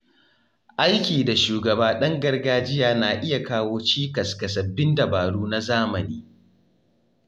Aiki da shugaba ɗan gargajiya na iya kawo cikas ga sabbin dabaru na zamani.